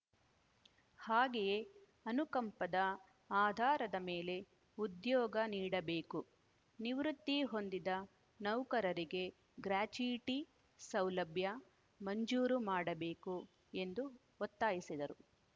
ಹಾಗೆಯೇ ಅನುಕಂಪದ ಆಧಾರದ ಮೇಲೆ ಉದ್ಯೋಗ ನೀಡಬೇಕು ನಿವೃತ್ತಿ ಹೊಂದಿದ ನೌಕರರಿಗೆ ಗ್ರಾಚ್ಯುಯಿಟಿ ಸೌಲಭ್ಯ ಮಂಜೂರು ಮಾಡಬೇಕು ಎಂದು ಒತ್ತಾಯಿಸಿದರು